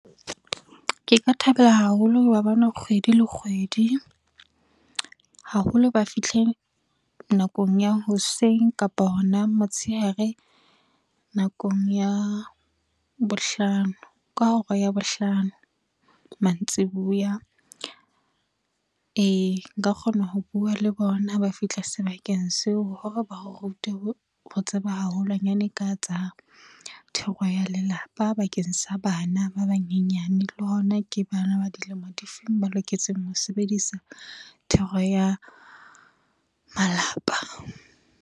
Ke ka thaba haholo ho ba bona kgwedi le kgwedi, haholo ba fihle nakong ya hoseng kapo hona motshehare nakong ya bohlano, ka hora ya bohlano mantsibuya. Nka kgona ho bua le bona ba fihla sebakeng seo hore ba re rute ho tseba haholwanyane ka tsa thero ya lelapa, bakeng sa bana ba banyenyane le hona ke bana ba dilemo di feng ba loketseng ho sebedisa thero ya malapa.